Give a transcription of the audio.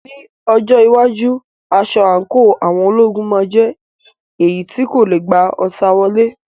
Ní ọjọ́ iwájú, aṣọ àǹkóò àwọn ológun máa jẹ́ èyí tí kò lè gba ọta wọlé.